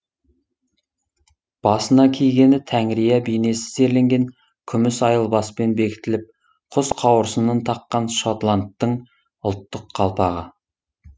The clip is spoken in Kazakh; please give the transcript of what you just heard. басына кигені тәңірия бейнесі зерленген күміс айылбаспен бекітіліп құс қауырсынын таққан шотландтың ұлттық қалпағы